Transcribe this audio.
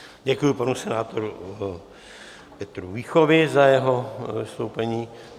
Děkuji panu senátorovi Petru Víchovi za jeho vystoupení.